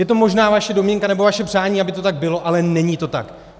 Je to možná vaše domněnka nebo vaše přání, aby to tak bylo, ale není to tak.